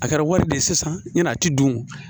A kɛra wari de ye sisan ɲin'a tɛ don